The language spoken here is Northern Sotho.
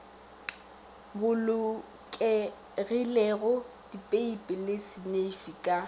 bolokegilego dipeipi le seneifi ka